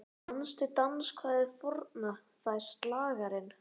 Manstu danskvæðið forna, það er slagarann